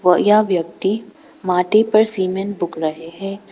और यह व्यक्ति माटी पर सीमेंट बुक रहे हैं।